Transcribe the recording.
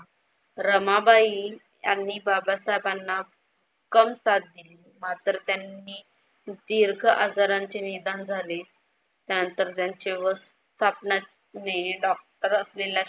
रमाबाई यांनी बाबसाहेबांना कम साथ दिली. मात्र त्यांनी दीर्घ आजारांचे निदान झाले त्यानंतर त्यांचे व डॉक्टर असलेल्या